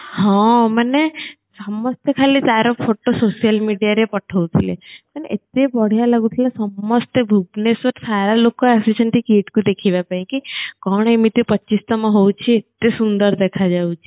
ହଁ ମାନେ ସମସ୍ତେ ଖାଲି ତାର photo social mediaରେ ପଠଉଥିଲେ ମାନେ ଏତେ ବଢିଆ ଲାଗୁଥିଲା ସମସ୍ତେ ଭୁବନେଶ୍ଵରରୁ ପ୍ରାୟ ଲୋକ ଆସିଛନ୍ତି KIIT କୁ ଦେଖିବା ପାଇଁ କି କଣ ଏମିତି ପଚିଶ ତମ ହଉଛି ଏତେ ସୁନ୍ଦର ଦେଖାଯାଉଛି